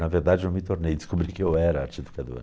Na verdade, não me tornei, descobri que eu era arte-educador.